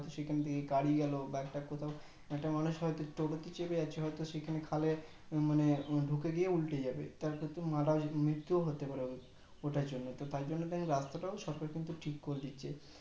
সেখান থেকে গাড়ি গেলো বা একটা কোথাও একটা মানুষ হয়তো টো টো তে চেপে আছে হয়তো সেখানে খালে মানে ঢুকে গিয়ে উল্টে যাবে তার ক্ষেত্রে মৃত্যও হতে পারে ওটার জন্য তো টাই জন্য রাস্তাটাও সরকার কিন্তু ঠিক করে দিচ্ছে